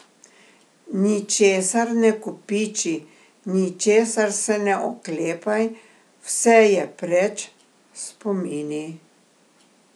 Ničesar ne kopiči, ničesar se ne oklepaj, vse je preč, spomini?